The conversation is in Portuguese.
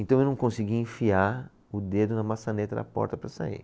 Então eu não conseguia enfiar o dedo na maçaneta da porta para sair.